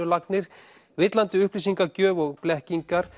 jarðlínulagnir villandi upplýsingagjöf og blekkingar